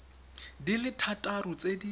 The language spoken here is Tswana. di le thataro tse di